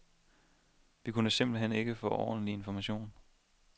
Vi kunne simpelt hen ikke få ordentlig information.